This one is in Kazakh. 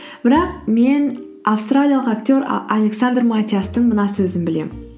бірақ мен австралиялық актер александр матиастың мына сөзін білемін